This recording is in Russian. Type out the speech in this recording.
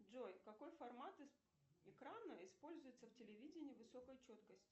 джой какой формат экрана используется в телевидении высокой четкости